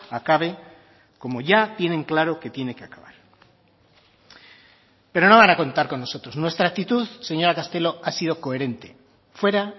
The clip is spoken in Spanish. acabe como ya tienen claro que tiene que acabar pero no van a contar con nosotros nuestra actitud señora castelo ha sido coherente fuera